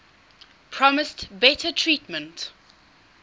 promised better treatment